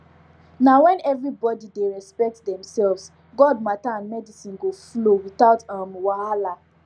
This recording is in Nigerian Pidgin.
na when everybody dey respect demselves god matter and medicine go flow without um wahala